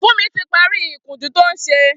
Funmi ti pàrí ikùnjù tó n ṣé